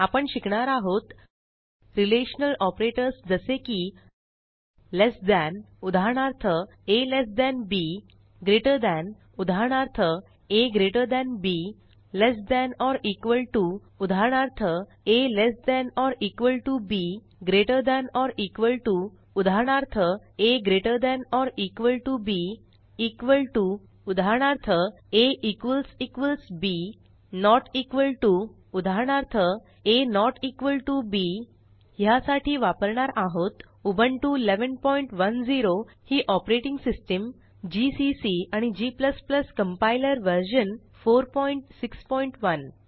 आपण शिकणार आहोत रिलेशनल ऑपरेटर्स जसे की लेस than उदाहरणार्थ a lt b greater than उदाहरणार्थ a gt b less than or equal to उदाहरणार्थ a lt b greater than or equal to उदाहरणार्थ a gt b equal to उदाहरणार्थ a b not equal to उदाहरणार्थ a b ह्यासाठी वापरणार आहोत Ubuntu 1110 ही operating system GCC आणि g compiler version 461